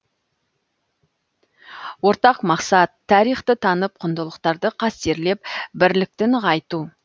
ортақ мақсат тарихты танып құндылықтарды қастерлеп бірлікті нығайту